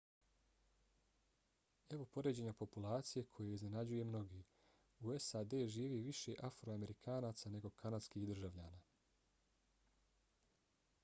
evo poređenja populacije koje iznenađuje mnoge: u sad živi više afroamerikanaca nego kanadskih državljana